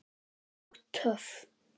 Og töff.